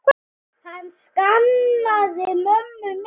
Hann saknaði mömmu mikið.